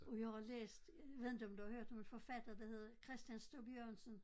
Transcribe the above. Og jeg har læst ved inte om du har hørt om en forfatter der hedder Christian Stub-Jørgensen?